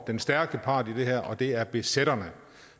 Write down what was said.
den stærke part i det her og det er besætterne